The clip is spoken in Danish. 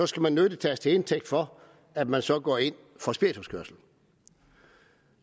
skal man nødig tages til indtægt for at man så går ind for spirituskørsel